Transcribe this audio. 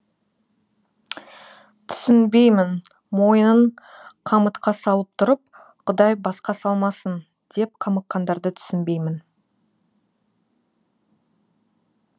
түсінбеймін мойынын қамытқа салып тұрып құдай басқа салмасын деп қамыққандарды түсінбеймін